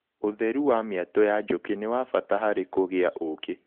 ũtheru wa mĩatũ ya njũkĩ nĩwabata harĩ kũgĩa ũkĩ.